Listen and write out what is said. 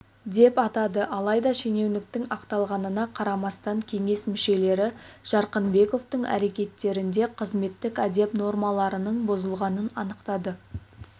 деп атады алайда шенеуніктің ақталғанына қарамастан кеңес мүшелері жарқынбековтың әрекеттерінде қызметтік әдеп нормаларының бұзылғанын анықтады